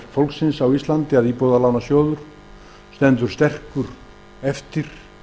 fólks á íslandi að íbúðalánasjóður stendur sterkur eftir